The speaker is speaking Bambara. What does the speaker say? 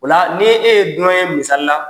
O la ni e ye dunan ye misali la